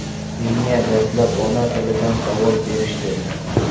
Menga dastlab ona-tilidan savol berishdi.